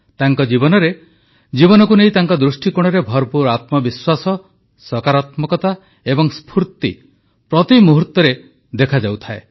ତାଙ୍କ ଜୀବନରେ ଜୀବନକୁ ନେଇ ତାଙ୍କ ଦୃଷ୍ଟିକୋଣରେ ଭରପୁର ଆତ୍ମବିଶ୍ୱାସ ସକାରାତ୍ମକତା ଏବଂ ସ୍ଫୁର୍ତ୍ତି ପ୍ରତିମୁହୂର୍ତ୍ତରେ ଦେଖାଯାଉଥାଏ